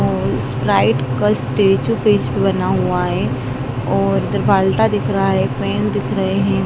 और स्प्राइट का statue paste बना हुआ है और दिख रहा है एक पेन दिख रहे हैं।